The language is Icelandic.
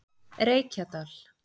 Reykjadal